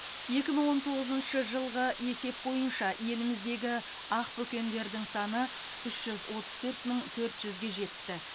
екі мың он тоғызыншы жылғы есеп бойынша еліміздегі ақбөкендердің саны үш жүз отыз төрт мың төрт жүзге жетті